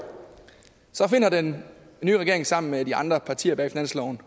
finder den nye regering sammen med de andre partier bag finansloven